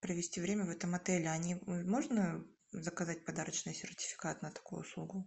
провести время в этом отеле можно заказать подарочный сертификат на такую услугу